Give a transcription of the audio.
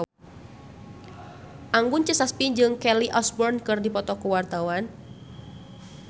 Anggun C. Sasmi jeung Kelly Osbourne keur dipoto ku wartawan